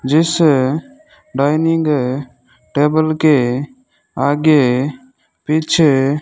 जैसे dining table के आगे पीछे --